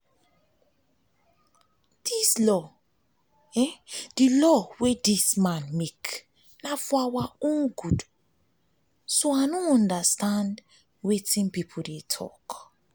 the law wey the man make na for our own good so i no understand wetin people dey talk